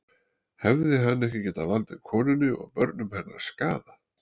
Hefði hann ekki getað valdið konunni og börnum hennar skaða?